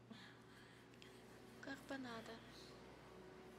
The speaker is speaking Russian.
карбонадо